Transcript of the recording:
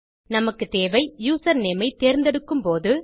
நமக்குத்தேவை username ஐ தேர்ந்தெடுக்கும் போது